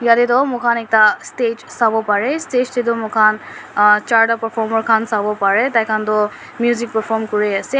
yate toh moi khan ekta stage sawo parae stage tae toh moi khan chartae performer khan sawo parae tai khan toh music perform kuriase.